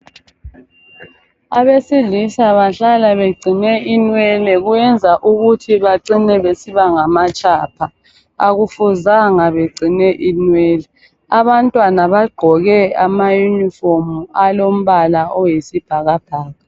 Abesilisa bahlala beqgcine inwele, kuyenza ukuthi bacine besiba ngamatshapha, akufuzanga beqgcine inwele. Abantwana baqgoke amayunifomu alombala oyisibhakabhaka.